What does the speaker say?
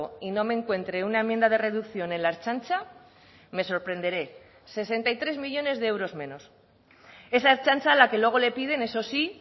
y no me encuentre una enmienda de reducción en la ertzaintza me sorprenderé me sorprenderé sesenta y tres millónes de euros menos esa ertzaintza a la que luego le piden eso sí